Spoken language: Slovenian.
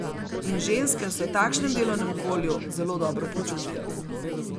In ženske se v takšnem delovnem okolju zelo dobro počutijo.